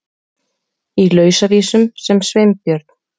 Í Lausavísum sem Sveinbjörn